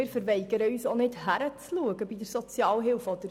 Wir weigern uns auch nicht, bei der Sozialhilfe hinzuschauen.